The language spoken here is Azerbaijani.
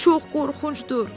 Çox qorxuncdur.